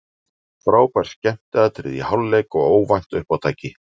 Frábær skemmtiatriði í hálfleik og óvænt uppátæki.